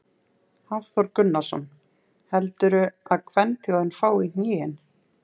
Hafþór Gunnarsson: Heldurðu að kvenþjóðin fái í hnén?